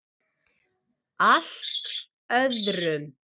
Allt öðrum.